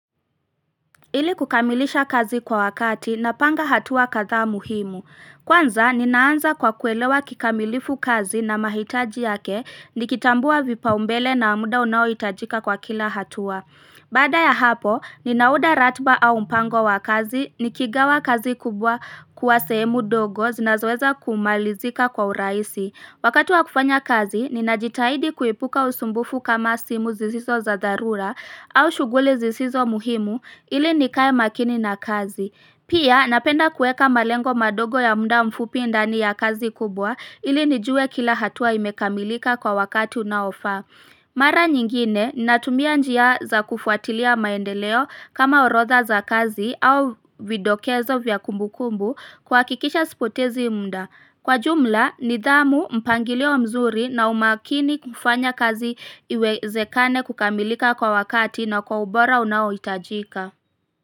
Ili kukamilisha kazi kwa wakati napanga hatua kadhaa muhimu. Kwanza ninaanza kwa kuelewa kikamilifu kazi na mahitaji yake nikitambua vipaumbele na muda unaoitajika kwa kila hatua. Baada ya hapo, ninauda ratba au mpango wa kazi, nikigawa kazi kubwa kuwa semu dogo zinazoeza kumalizika kwa uraisi. Wakati wa kufanya kazi, ninajitahidi kuipuka usumbufu kama simu zizizo za zarura au shughuli zizizo muhimu ili nikae makini na kazi. Pia, napenda kuweka malengo madogo ya mda mfupi ndani ya kazi kubwa ili nijue kila hatua imekamilika kwa wakati unao faa. Mara nyingine natumia njia za kufuatilia maendeleo kama orodha za kazi au vidokezo vya kumbu kumbu kwakikisha spotezi mda. Kwa jumla nidhamu mpangilio mzuri na umakini kufanya kazi iwezekane kukamilika kwa wakati na kwa ubora unaoitajika.